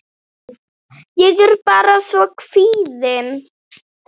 Ég er bara svo kvíðin.